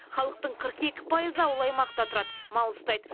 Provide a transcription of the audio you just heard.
халықтың қырық екі пайызы ауыл аймақта тұрады мал ұстайды